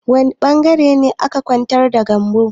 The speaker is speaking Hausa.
Wani ɓangaren ne aka ƙwantar da Gambo?